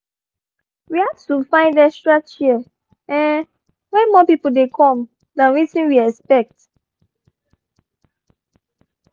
we had to find extra chair um when more people dey come than wetin we expect.